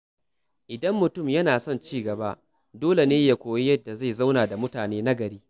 Idan mutum yana son ci gaba, dole ne ya koyi yadda zai zauna da mutane nagari.